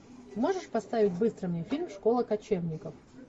можешь поставить быстро мне фильм школа кочевников